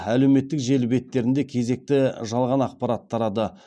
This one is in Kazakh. әлеуметтік желі беттерінде кезекті жалған ақпарат тарады